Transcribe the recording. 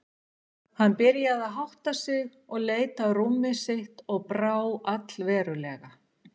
Hann byrjaði að hátta sig og leit á rúmið sitt og brá allverulega.